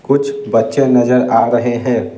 कुछ बच्चे नजर आ रहे हैं।